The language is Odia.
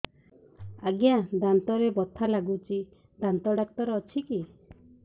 ଆଜ୍ଞା ଦାନ୍ତରେ ବଥା ଲାଗୁଚି ଦାନ୍ତ ଡାକ୍ତର ଅଛି କି